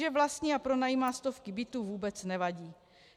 Že vlastní a pronajímá stovky bytů, vůbec nevadí.